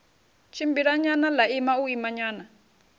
tshimbilanyana ḽa ima u imanyana